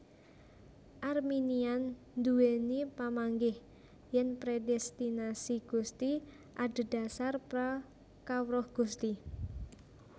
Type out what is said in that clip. Arminian duwéni pamanggih yèn predestinasi Gusti adhedhasar pra kawruh Gusti